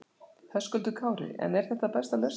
Höskuldur Kári: En er það besta lausnin?